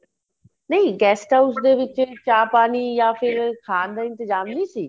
ਨਹੀਂ guest house ਦੇ ਵਿੱਚ ਚਾ ਪਾਣੀ ਯਾ ਫੇਰ ਖਾਣ ਦਾ ਇੰਤਜਾਮ ਨਹੀਂ ਸੀ